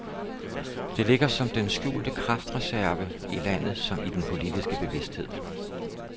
Det ligger som den skjulte kraftreserve, i landet som i den politiske bevidsthed.